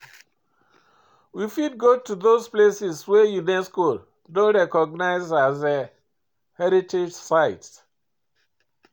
We fit go those places wey UNESCO don recognise as heritage site